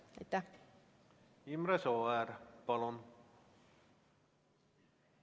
Imre Sooäär, palun!